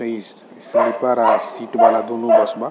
आ इ स्लीपर आर शीट वाला दूगो बस बा |